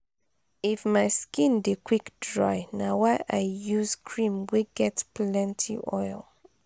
if my skin dey quick dry na why i use cream wey get plenty oil.